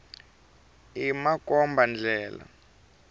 i makomba ndlela